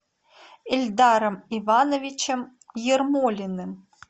ильдаром ивановичем ермолиным